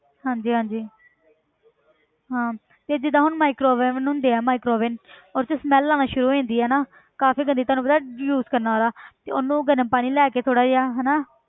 ਹਾਂਜੀ ਹਾਂਜੀ ਹਾਂ ਤੇ ਜਿੱਦਾਂ ਹੁਣ microwave oven ਹੁੰਦੇ ਆ microwave oven ਉਹਦੇ 'ਚ smell ਆਉਣਾ ਸ਼ੁਰੂ ਹੋ ਜਾਂਦੀ ਆ ਨਾ ਕਾਫ਼ੀ ਗੰਦੀ ਤੁਹਾਨੂੰ ਪਤਾ use ਕਰਨ ਨਾਲ ਤੇ ਉਹਨੂੰ ਗਰਮ ਪਾਣੀ ਲੈ ਕੇ ਥੋੜ੍ਹਾ ਜਿਹਾ ਹਨਾ